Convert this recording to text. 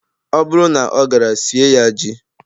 Ọ bụrụ na ọ gara, sie ya ji.